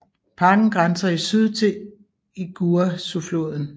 Parken grænser i syd til Iguaçufloden